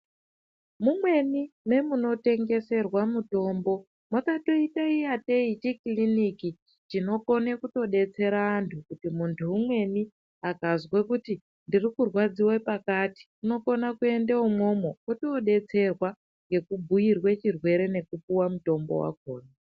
Mumweni memunotengeserwa mutombo makatoite ingatei chi kiliniki chinokone kutodetsera antu, kuti muntu umweni akazwe kuti ndiri kurwadziwe pakati, unokona kuenda umwomwo otoodetserwa ngekubhuirwe chirwere nekupuwa mutombo wakhona.